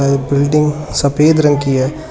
यह बिल्डिंग सफेद रंग की है।